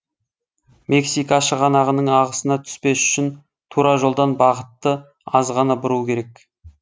мексика шығанағының ағысына түспес үшін тура жолдан бағытты аз ғана бұру керек